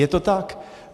Je to tak.